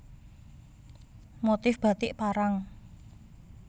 Motif Batik Parang